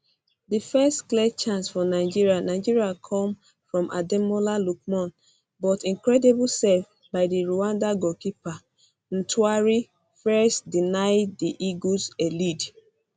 di first clear chance for nigeria nigeria come from ademola lookman but incredible save by di rwanda goalkeeper ntwari fiarce deny di eagles a lead